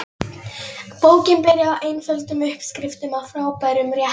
Bókin byrjar á einföldum uppskriftum að frábærum réttum.